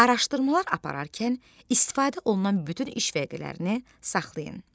Araşdırmalar apararkən istifadə olunan bütün iş vərəqələrini saxlayın.